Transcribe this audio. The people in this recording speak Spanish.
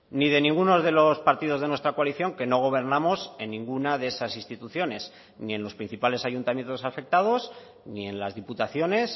ni de ninguno de los partidos de nuestra coalición que no gobernamos en ninguna de esas instituciones ni en los principales ayuntamientos afectados ni en las diputaciones